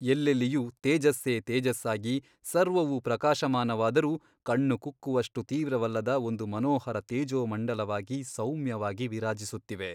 ಎಲ್ಲೆಲ್ಲಿಯೂ ತೇಜಸ್ಸೇ ತೇಜಸ್ಸಾಗಿ ಸರ್ವವೂ ಪ್ರಕಾಶಮಾನವಾದರೂ ಕಣ್ಣುಕುಕ್ಕುವಷ್ಟು ತೀವ್ರವಲ್ಲದ ಒಂದು ಮನೋಹರ ತೇಜೋಮಂಡಲವಾಗಿ ಸೌಮ್ಯವಾಗಿ ವಿರಾಜಿಸುತ್ತಿವೆ.